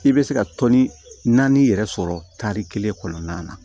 I bɛ se ka tɔni naani yɛrɛ sɔrɔ tari kelen kɔnɔna na